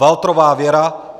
Waltrová Věra